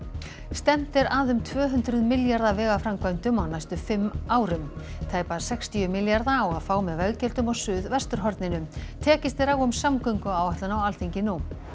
stefnt er að um tvö hundruð milljarða vegaframkvæmdum á næstu fimm árum tæpa sextíu milljarða á að fá með veggjöldum á Suðvesturhorninu tekist er á um samgönguáætlun á Alþingi